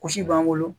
Gosi b'an bolo